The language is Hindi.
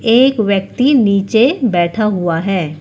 एक व्यक्ति नीचे बैठा हुआ है।